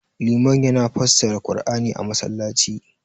liman yana fassara qur'ani a masallaci